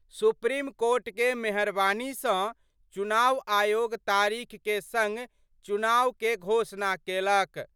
Supreme court के मेहरबानी स चुनाव आयोग तारीख के संग चुनाव के घोषणा केलक।